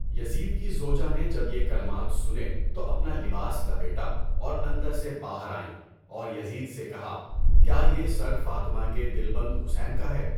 یزید کی زوجہ نے جب یہ کلمات سنے تو اپنا لباس لپیٹا اور اندر سے باہر آئیں اور یزید سے کہا کیا یہ سر فاطمہ کے دلبند حسین کا ہے؟